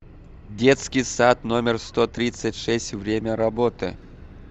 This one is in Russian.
детский сад номер сто тридцать шесть время работы